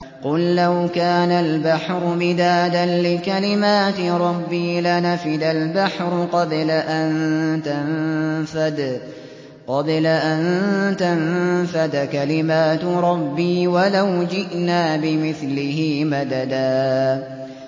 قُل لَّوْ كَانَ الْبَحْرُ مِدَادًا لِّكَلِمَاتِ رَبِّي لَنَفِدَ الْبَحْرُ قَبْلَ أَن تَنفَدَ كَلِمَاتُ رَبِّي وَلَوْ جِئْنَا بِمِثْلِهِ مَدَدًا